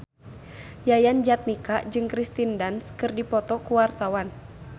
Yayan Jatnika jeung Kirsten Dunst keur dipoto ku wartawan